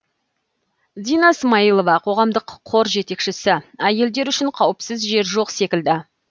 дина смайылова қоғамдық қор жетекшісі әйелдер үшін қауіпсіз жер жоқ секілді